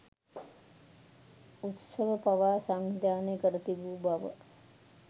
උත්සව පවා සංවිධානය කර තිබූ බව